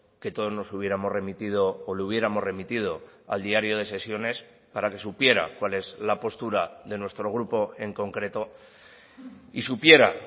que todos nos hubiéramos remitido o le hubiéramos remitido al diario de sesiones para que supiera cuál es la postura de nuestro grupo en concreto y supiera